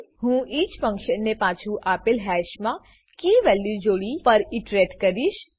હું ઈચ ફંક્શનને પાછુ આપેલ હેશ મા keyવેલ્યુ જોડી પર ઈટરેટ કરીશ